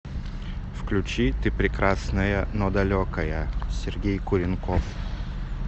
включи ты прекрасная но далекая сергей куренков